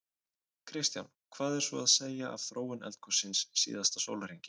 Kristján: Hvað er svo að segja af þróun eldgossins síðasta sólarhringinn?